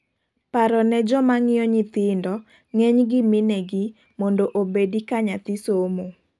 paro ne jomangiyo nyithindo - ngeny gi minegi- mondo obedi ka nyathi somo